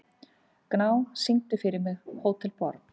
Gná, syngdu fyrir mig „Hótel Borg“.